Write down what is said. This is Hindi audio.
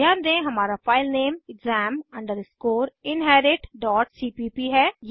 ध्यान दें हमारा फाइलनेम exam inheritcpp है